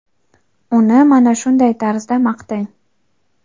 uni mana shunday tarzda maqtang.